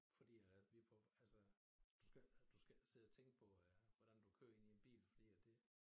Fordi at vi på altså du skal du skal ikke sidde og tænke på øh hvordan du kører inde i en bil fordi at det